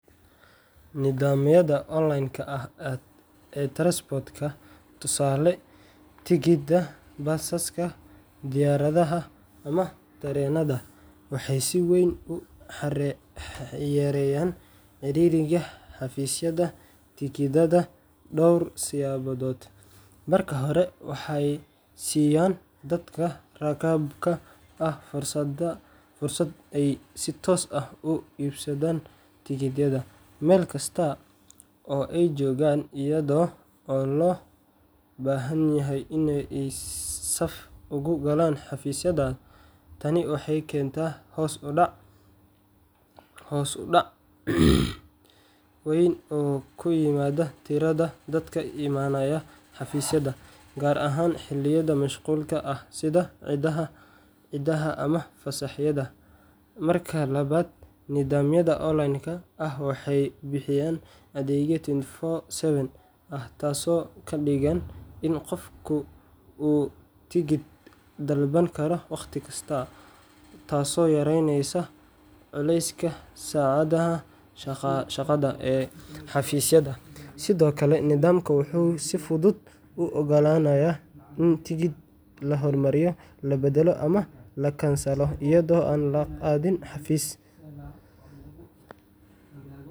Nidaamyada online-ka ah ee transport booking tusaale, tigidhada basaska, diyaaradaha, ama tareenada waxay si weyn u yareeyaan ciriiriga xafiisyada tigidhada dhowr siyaabood:Marka hore, waxay siiyaan dadka rakaabka ah fursad ay si toos ah uga iibsadaan tigidhada meel kasta oo ay joogaan, iyadoo aan loo baahnayn in ay saf ugu galaan xafiisyada. Tani waxay keentaa hoos u dhac weyn oo ku yimaada tirada dadka imaanaya xafiisyada, gaar ahaan xilliyada mashquulka ah sida ciidaha ama fasaxyada. Marka labaad, nidaamyada online-ka ah waxay bixiyaan adeeg 24/7 ah, taasoo ka dhigan in qofku uu tigidhka dalban karo wakhti kasta, taasoo yareynaysa culayska saacadaha shaqada ee xafiisyada. Sidoo kale, nidaamkan wuxuu si fudud u ogolaanayaa in tigidhada la hormariyo, la beddelo ama la kansalo iyadoo aan la aadin xafiis.